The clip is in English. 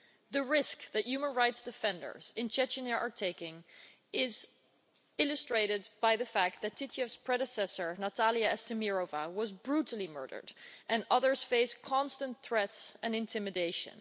The risk that human rights defenders in Chechnya are taking is illustrated by the fact that Titiev's predecessor, Natalya Estemirova, was brutally murdered, and others face constant threats and intimidation.